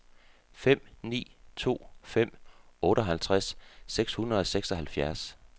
fem ni to fem otteoghalvtreds seks hundrede og seksoghalvfjerds